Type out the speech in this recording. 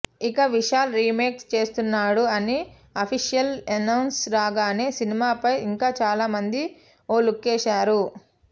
ఇక విశాల్ రీమేక్ చేస్తున్నాడు అని అఫీషియల్ ఎనౌన్స్ రాగానే సినిమాపై ఇంకా చాలా మంది ఓ లుక్కేశారు